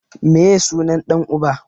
Meye sunan ɗan uba?